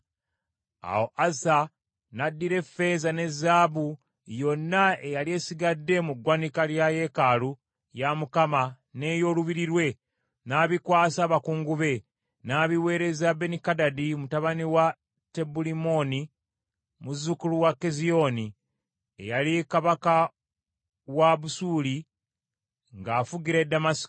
Awo Asa n’addira effeeza ne zaabu yonna eyali esigadde mu ggwanika lya yeekaalu ya Mukama n’ey’olubiri lwe, n’abikwasa abakungu be, n’abiweereza Benikadadi mutabani wa Tabulimmoni, muzzukulu wa Keziyoni, eyali kabaka wa Busuuli ng’afugira e Ddamasiko.